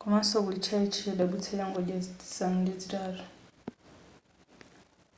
komanso kuli tchalitchi chodabwitsa changodya zisanu ndi zitatu